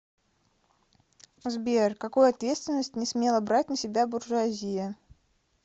сбер какую ответственность не смела брать на себя буржуазия